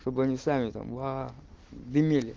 чтобы они сами там аа дымели